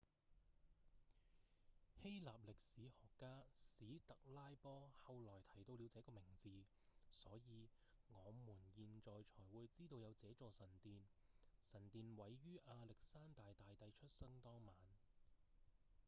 希臘歷史學家史特拉波後來提到了這個名字所以我們現在才會知道有這座神殿神殿毀於亞歷山大大帝出生當晚